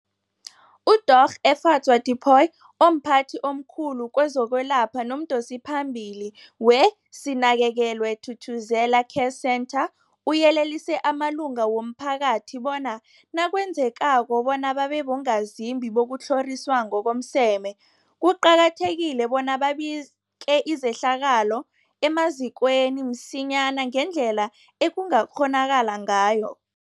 UDorh Efadzwa Tipoy, omphathi omkhulu kezokwelapha nomdosiphambili weSinakekelwe Thuthuzela Care Centre, uyelelise amalunga womphakathi bona nakwenzekako bona babe bongazimbi bokutlhoriswa ngokomseme, kuqakathekile bona babike izehlakalo emazikweni msinyana ngendlela ekungakghonakala ngayo.